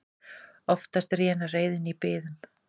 Oftast rénar reiðin í biðum.